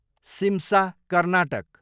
Simsa, Karnataka